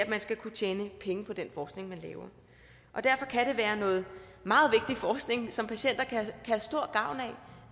man skal kunne tjene penge på den forskning man laver derfor kan det være noget meget vigtig forskning som patienter kan have stor gavn af